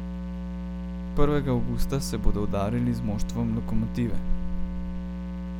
Prvega avgusta se bodo udarili z moštvom Lokomotive.